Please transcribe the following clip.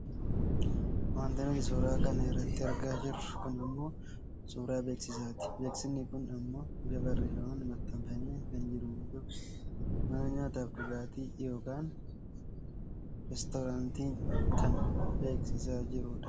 Wanti nuti suura kana irratti argaa jirru kun ammoo suuraa beeksisaati. Beeksifnii kun ammoo bifa barreefaman maxxanfamee kan jiru yoo ta'u mana nyaataa fi dhugaatii yookaan resturaantii kan beeksisaa jiru dha.